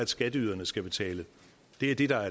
skatteyderne skal betale det er det der